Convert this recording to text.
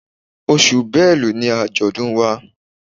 Oṣù Bélú ni àjọ̀dún wa.